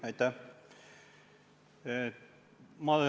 Aitäh!